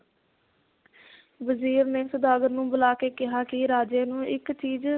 ਵਜ਼ੀਰ ਨੇ ਸੌਦਾਗਰ ਨੂੰ ਬੁਲਾ ਕੇ ਕਿਹਾ ਕਿ ਰਾਜੇ ਨੂੰ ਇੱਕ ਚੀਜ਼,